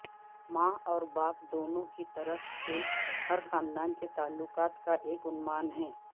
ماں اور باپ دونوں کی طرف سے ہر خاندان کے تعلقات کا ایک عنوان ہے